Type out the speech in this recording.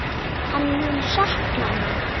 Hann mun sakna mín.